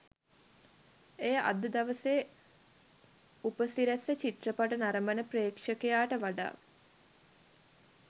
එය අද දවසේ උපසිරැසි චිත්‍රපට නරඹන ප්‍රෙක්ෂකයාට වඩා